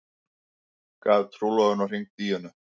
Gaf trúlofunarhring Díönu